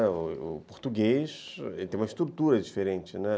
O português tem uma estrutura diferente, né.